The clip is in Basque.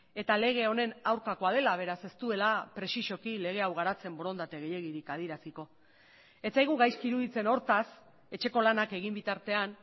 eta lege honen aurkakoa dela beraz ez duela prexixoki lege hau garatzen borondate gehiegirik adieraziko ez zaigu gaizki iruditzen hortaz etxeko lanak egin bitartean